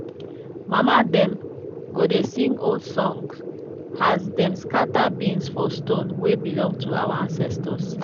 mama dem go dey sing old song as dem scatter beans for stone wey belong to our ancestors.